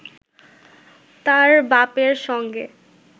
তার বাপের সঙ্গে